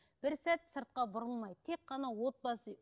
бір сәт сыртқа бұрылмайды тек қана отбасы